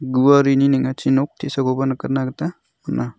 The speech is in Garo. guarini ning·achi nok te·sakoba nikatna gita man·a.